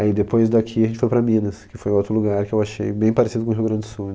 É, e depois daqui a gente foi para Minas, que foi outro lugar que eu achei bem parecido com Rio Grande do Sul.